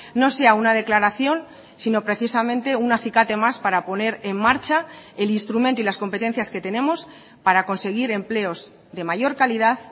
no sea una declaración sino precisamente un acicate más para poner en marcha el instrumento y las competencias que tenemos para conseguir empleos de mayor calidad